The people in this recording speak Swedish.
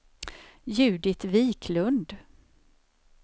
Judit Wiklund